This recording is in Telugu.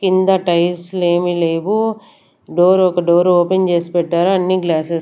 కింద టైల్స్ లేమి లేవు డోర్ ఒక డోర్ ఓపెన్ చేసి పెట్టారు అన్నీ గ్లాసెస్ --